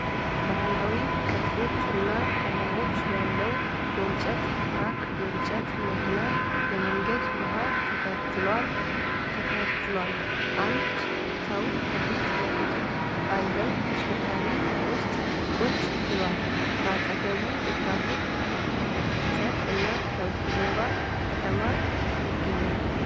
ባሕላዊ ቅርጾች እና ቀለሞች ያለው የእንጨት ትራክ የጭነት መኪና የመንገዱን መሃል ተከትሏል። አንድ ሰው ከፊት ለፊቱ ባለው ተሽከርካሪ ውስጥ ቁጭ ብሏል። በአጠገቡ የትራፊክ ፍሰት እና ከበስተጀርባ ከተማ ይገኛል።